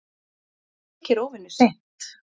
Það þykir óvenju seint